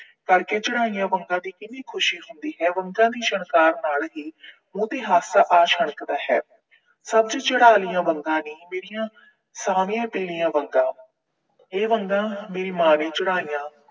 ਕਰਕੇ ਚੜਾਈਆਂ ਵੰਗਾਂ ਦੀ ਕਿਹੜੀ ਖੁਸ਼ੀ ਹੁੰਦੀ ਹੈ। ਵੰਗਾਂ ਦੀ ਛਣਕਾਰ ਨਾਲ ਹੀ ਮੂੰਹ ਤੇ ਹਾਸਾ ਆ ਛਣਕਦਾ ਹੈ। ਹੱਥ ਚੜਾ ਲਈਆਂ ਵੰਗਾਂ ਨੀ, ਮੇਰੀਆਂ ਸਾਰੀਆਂ ਪੀਲੀਆਂ ਵੰਗਾਂ। ਇਹ ਵੰਗਾਂ ਮੇਰੀ ਮਾਂ ਨੇ ਚੜਾਈਆਂ